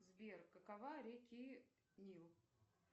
сбер какова реки нил